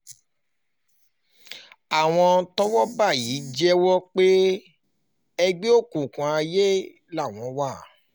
àwọn tọ́wọ́ bá yìí jẹ́wọ́ pé ẹgbẹ́ òkùnkùn aiye làwọn